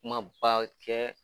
Kuma ba kɛ